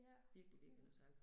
Ja, mhm